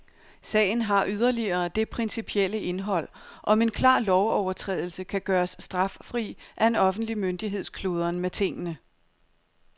Sagen har yderligere det principielle indhold, om en klar lovovertrædelse kan gøres straffri af en offentlig myndigheds kludren med tingene.